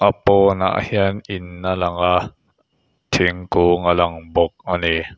a pawnah hian in a lang a thingkung a lang bawk ani.